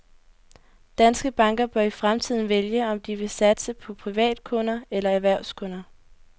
Danske banker bør i fremtiden vælge, om de vil satse på privatkunder eller erhvervskunder.